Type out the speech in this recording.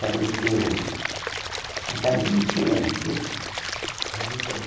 Faleceu... Há quase vinte anos, viu? Há vinte anos